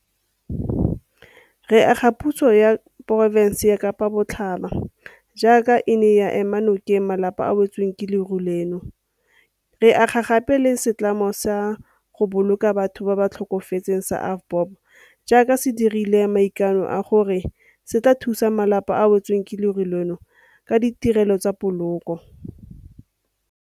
Re akgola puso ya porofense ya Kapa Botlhaba jaaka e ne ya ema nokeng malapa a a wetsweng ke leru leno, re akgola gape le setlamo sa go boloka batho ba ba tlhokafetseng sa AVBOB jaaka se dirile maikano a gore se tla thusa malapa a a wetsweng ke leru leno ka ditirelo tsa poloko.